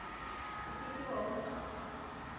o ke ke wa utlwi